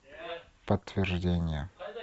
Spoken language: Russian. подтверждение